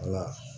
Wala